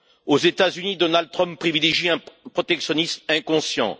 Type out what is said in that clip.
Aux États Unis, Donald Trump privilégie un protectionnisme inconscient.